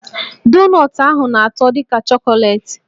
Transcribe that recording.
Donọtụ ahụ na-atọ dị ka chọkọleetị